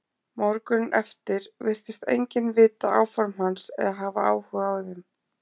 Morguninn eftir virtist enginn vita áform hans eða hafa áhuga á þeim.